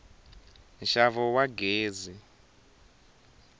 nxavo wa gezi